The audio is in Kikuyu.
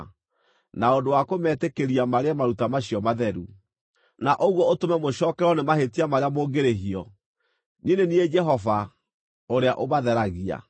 na ũndũ wa kũmetĩkĩria marĩe maruta macio matheru, na ũguo ũtũme mũcookererwo nĩ mahĩtia marĩa mũngĩrĩhio. Niĩ nĩ niĩ Jehova ũrĩa ũmatheragia.’ ”